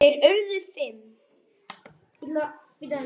Þeir urðu fimm.